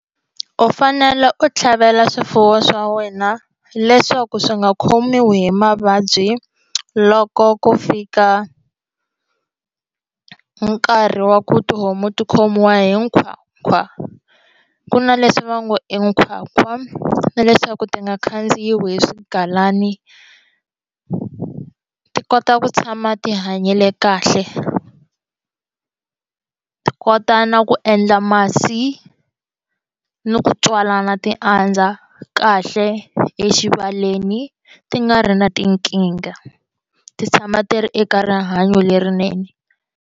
U fanele u tlhavela swifuwo swa wena leswaku swi nga khomiwi hi mavabyi loko ku fika nkarhi wa ku tihomu ti khomiwa nkhwankhwa ku va ku na leswi va ngo i nkhwankhwa na leswaku ti nga khandziyiwile swigalani ti kota ku tshama ti hanyile kahle ti kota na ku endla masi ni ku tswalana ti andza kahle exibaleni ti nga ri na tinkingha ti tshama ti ri eka rihanyo lerinene.